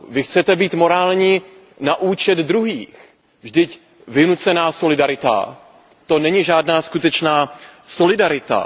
Vy chcete být morální na účet druhých, vždyť vynucená solidarita, to není žádná skutečná solidarita.